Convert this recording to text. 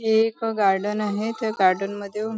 हे एक गार्डन आहे त्या गार्डन मध्ये येऊन --